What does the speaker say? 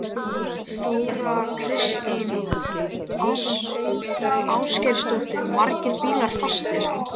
Þóra Kristín Ásgeirsdóttir: Margir bílar fastir?